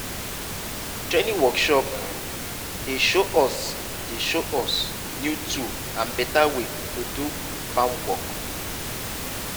training workshop um dey show us dey show us new tool and better way to do um farm work.